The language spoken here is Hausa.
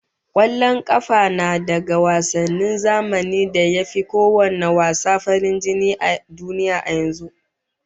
Kwallon kafa na daga wasannin zamani da ya fi kowanne wasa farin jini a duniya yanzu